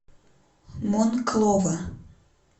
монклова